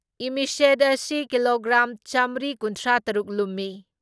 ꯏꯃꯤꯁꯦꯠ ꯑꯁꯤ ꯀꯤꯂꯣꯒ꯭ꯔꯥꯝ ꯆꯥꯝꯃ꯭ꯔꯤ ꯀꯨꯟꯊ꯭ꯔꯥ ꯇꯔꯨꯛ ꯂꯨꯝꯃꯤ ꯫